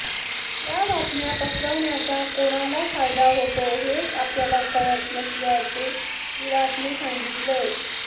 या बातम्या पसरवण्याचा कोणाला फायदा होतोय हेच आपल्याला कळत नसल्याचे विराटने सांगितले